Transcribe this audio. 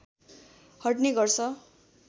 हट्ने गर्छ